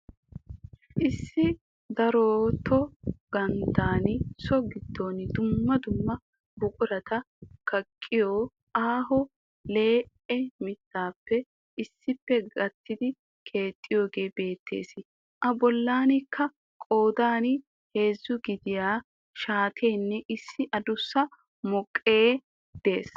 Issi darooto ganddaan so gidon dumma dumma buqqurata kaqqiyo aaho lee'e mittaappe issippe gattidi keexxidogee beettees. A bollankka qoodan heezzaa gidiya shaateenne issi addussa mooqee de'ees.